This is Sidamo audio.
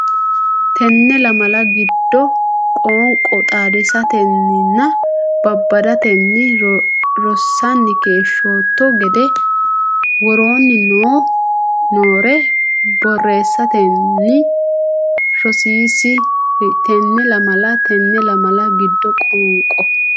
Tenne lamala giddo qoonqo xaadisatenninna babbadatenni rossanni keeshshootto giddo woroonni noore borreessitanni rosiisi ri Tenne lamala Tenne lamala giddo qoonqo.